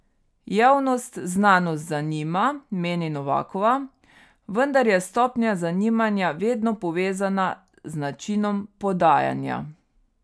Javnost znanost zanima, meni Novakova, vendar je stopnja zanimanja vedno povezana z načinom podajanja.